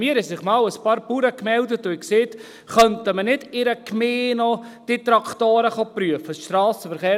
Bei mir haben sich einmal ein paar Bauern gemeldet und haben gesagt: «Könnte man die Traktoren nicht auch in einer Gemeinde prüfen lassen?